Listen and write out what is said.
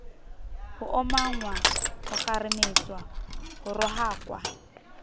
ho omanngwa hokgarametswa ho rohakwa